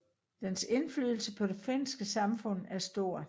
Dens indflydelse på det finske samfund er stor